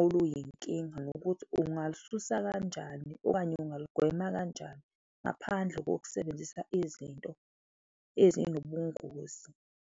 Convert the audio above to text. oluyinkinga nokuthi ungalisusa kanjani okanye ungaligwema kanjani ngaphandle kokusebenzisa izinto ezinobungozi.